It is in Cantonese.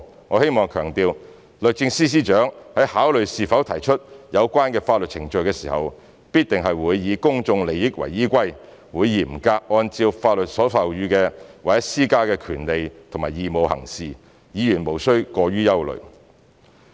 我希望強調，律政司司長在考慮是否提出有關的法律程序時，必定是以公眾利益為依歸，會嚴格按照法律所授予或施加的權利和義務行事，議員無須過於憂慮。